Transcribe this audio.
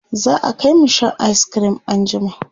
za'a Kai mu Shan ayis cream an jima